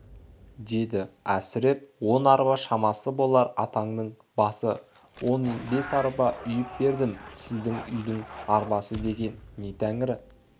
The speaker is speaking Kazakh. деді әсіреп он арба шамасы болар атаңның басы он бес арба үйіп бердім сіздің үйдің арбасы деген не тәңірі